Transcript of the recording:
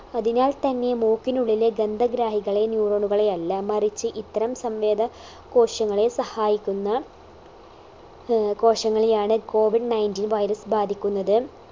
അതിനാൽ തന്നെ മൂക്കിനുള്ളിലെ ഗന്ധഗ്രാഹികളെ neuron കാളെയല്ല മറിച്ച് ഇത്തരം സംവേദ കോശങ്ങളെ സഹായിക്കുന്ന ഏർ കോശങ്ങളെയാണ് COVIDNinteen virus ബാധിക്കുന്നത്